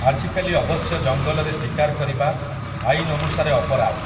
ଆଜିକାଲି ଅବଶ୍ୟ ଜଙ୍ଗଲରେ ଶିକାର୍ କରିବା, ଆଇନ୍ ଅନୁସାରେ ଅପରାଧ୍ ।